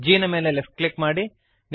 G ನ ಮೇಲೆ left click ಮಾಡಿರಿ